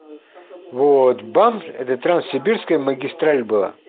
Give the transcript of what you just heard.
вот банк это транссибирская магистраль была